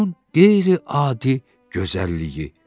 Onun qeyri-adi gözəlliyi.